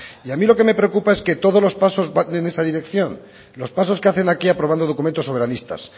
y a mí lo que me preocupa es que todos los pasos van en esa dirección los pasos que hacen aquí aprobando documentos soberanistas